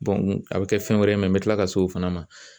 a bɛ kɛ fɛn wɛrɛ ye n bɛ tila ka se o fana ma